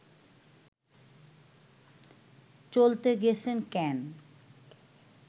চলতে গেছেন ক্যান